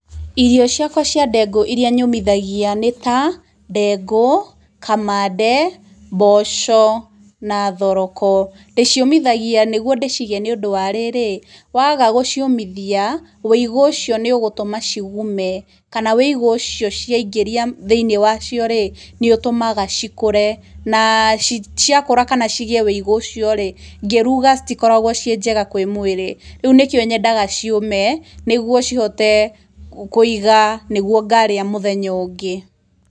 Irio ciakwa cia ndengũ iria nyũmithagia nĩ ta, ndengũ kamande, mboco na thoroko. Ndĩciũmithagia nĩ guo ndĩciige nĩ ũndũ wa rĩrĩ, waaga gũciũmithia, wĩigũ ũcio nĩ ũgũtũma cigume, kana wĩigũ ũcio ciaingĩria thĩiniĩ wacio rĩ, nĩ ũtũmaga cikũre, na ciakũra kana cigĩe wĩigũ ũcio rĩ, ngĩruga citikoragwo ciĩ njega kwĩ mwĩrĩ, rĩu nĩkĩo nyendaga ciũme, nĩ guo cihote kũiga nĩ guo ngarĩa mũthenya ũngĩ.